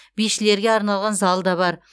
бишілерге арналған зал да бар